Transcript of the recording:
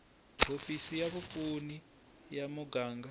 hofisi va vapfuni ya muganga